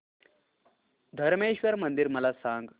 धरमेश्वर मंदिर मला सांग